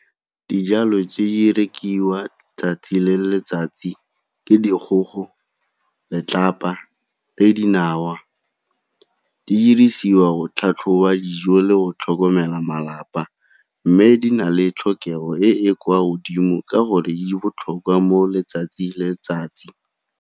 Dijalo tse di rekiwa 'tsatsi le letsatsi ke dikgogo, letlapa le dinawa. Di diriswa go tlhatlhoba dijo le go tlhokomela malapa mme di na le tlhokego e e kwa godimo ka gore e botlhokwa mo letsatsi letsatsi.